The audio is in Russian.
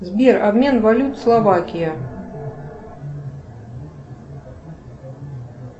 сбер обмен валют словакия